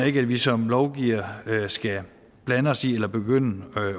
ikke at vi som lovgivere skal blande os i eller begynde at